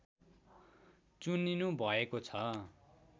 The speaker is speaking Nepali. चुनिनुभएको छ